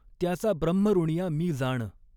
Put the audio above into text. त्याचा ब्रह्मऋणिया मी जाण।